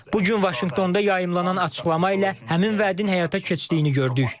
Bu gün Vaşinqtonda yayımlanan açıqlama ilə həmin vədin həyata keçdiyini gördük.